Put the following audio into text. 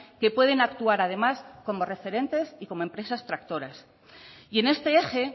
que pueden actuar además como referentes y como empresas tractoras y en este eje